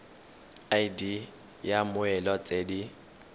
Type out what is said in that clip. id ya mmoelwa tse di